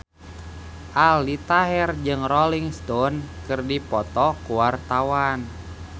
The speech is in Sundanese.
Aldi Taher jeung Rolling Stone keur dipoto ku wartawan